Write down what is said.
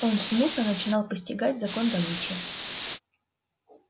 он смутно начинал постигать закон добычи